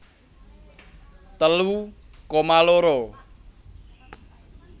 telu koma loro